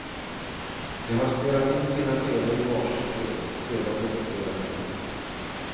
De har spelat in sina scener i var sitt rum och sedan redigerats ihop.